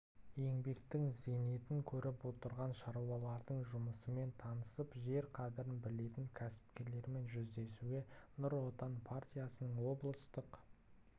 еңбектің зейнетін көріп отырған шаруалардың жұмысымен танысып жер қадірін білетін кәсіпкерлермен жүздесуге нұр отан партиясының облыстық